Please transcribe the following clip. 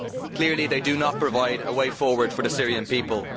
Clearly they do not provide a way forward for the Syrian people.